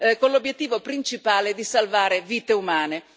con l'obiettivo principale di salvare vite umane.